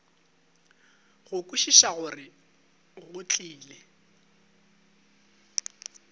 go kwešiša gore go tlile